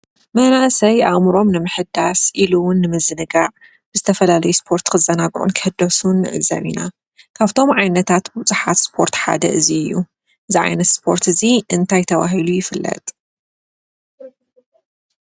መናእሰይ ኣእምሮኦም ንምሕዳስ ኢሉ እዉን ንምዝንጋዕ ዝተፈላለዩ ስፖርት ክዘናግዑን ክሕደሱን ንዕዘብ ኢና። ካፍቶም ዓይነታት ቡዙሓት ስፖርት ሓደ እዚ እዩ። እዚ ዓይነት ስፖርት እዚ እንታይ ተባሂሉ ይፍለጥ?